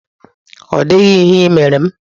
Ọ dịghị ihe ị mere m.